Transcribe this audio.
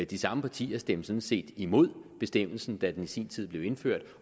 de samme partier stemte sådan set imod bestemmelsen da den i sin tid blev indført